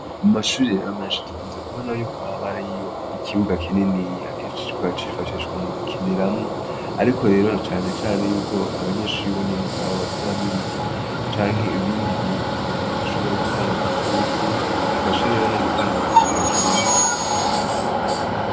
Umashuri rero menshi dukunze kubona yuko ababa ariyo ikibuga kinini iya keshishwa yacifashishwa mu gukiniramwo, ariko rero canecane yuko abanyenshuribo nyene ubwabo bateramwo ibiti canke ibindi bintu kugira ngo bushobore gutanga agatutu bifashe rero no gutanga akayaga keza.